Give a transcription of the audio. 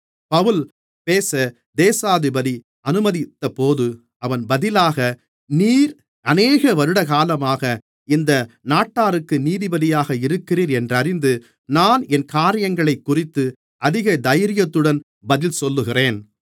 பவுல் பேச தேசாதிபதி அனுமதித்தபோது அவன் பதிலாக நீர் அநேக வருடகாலமாக இந்த நாட்டாருக்கு நீதிபதியாக இருக்கிறீர் என்றறிந்து நான் என் காரியங்களைக்குறித்து அதிக தைரியத்துடன் பதில் சொல்லுகிறேன்